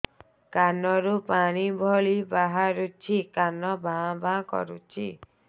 କାନ ରୁ ପାଣି ଭଳି ବାହାରୁଛି କାନ ଭାଁ ଭାଁ କରୁଛି